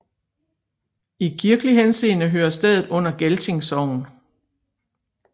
I kirkelig henseende hører stedet under Gelting Sogn